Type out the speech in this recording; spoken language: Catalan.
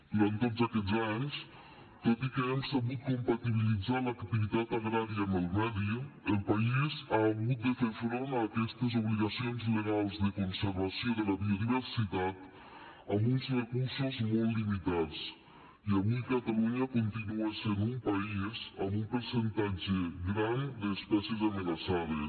durant tots aquests anys tot i que hem sabut compatibilitzar l’activitat agrària amb el medi el país ha hagut de fer front a aquestes obligacions legals de conservació de la biodiversitat amb uns recursos molt limitats i avui catalunya continua sent un país amb un percentatge gran d’espècies amenaçades